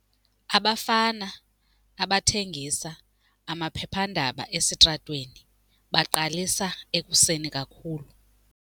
Abafana abathengisa amaphephandaba esitratweni baqalisa ekuseni kakhulu.